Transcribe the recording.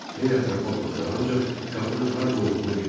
Xeyli ətrafa baxdı, ancaq qapının harda olduğunu bilmədi.